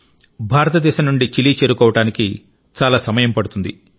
భారతదేశం నుండి చిలీ చేరుకోవడానికి చాలా సమయం పడుతుంది